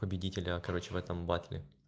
победителя короче в этом батле